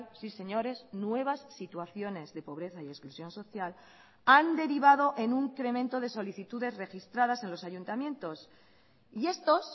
sí señores nuevas situaciones de pobreza y exclusión social han derivado en un incremento de solicitudes registradas en los ayuntamientos y estos